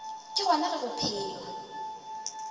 ke gona ge go phelwa